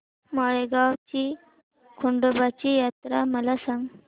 माळेगाव ची खंडोबाची यात्रा मला सांग